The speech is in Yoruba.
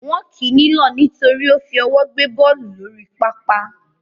Wọ́n kì í nílọ̀ nítorí ó fi ọwọ́ gbé bọ́ọ̀lù lórí pápá